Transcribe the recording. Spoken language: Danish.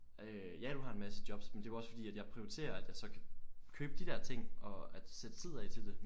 Øh ja du har en masse jobs men det er jo også fordi at jeg prioriterer at jeg så kan købe dé der ting og at sætte tid af til det